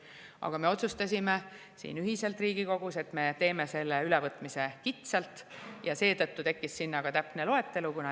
Aga meie siin Riigikogus ühiselt otsustasime, et me teeme selle ülevõtmise kitsalt, ja seetõttu tekkis sinna ka täpne loetelu.